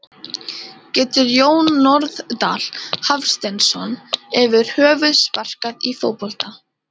Getur Jón Norðdal Hafsteinsson yfir höfuð sparkað í fótbolta?